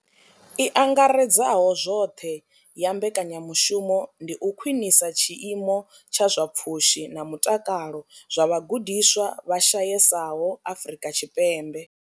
I angaredzaho zwoṱhe ya mbekanyamushumo ndi u khwinisa tshiimo tsha zwa pfushi na mutakalo zwa vhagudiswa vha shayesaho Afrika Tshipembe.